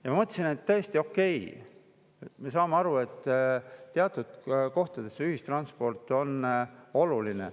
Ma mõtlesin, et tõesti, okei, me saame aru, et teatud kohtades ühistransport on oluline.